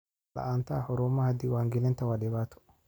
La'aanta xarumaha diiwaangelinta waa dhibaato.